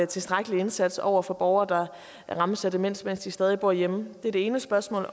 tilstrækkelig indsats over for borgere der rammes af demens mens de stadig bor hjemme det er det ene spørgsmål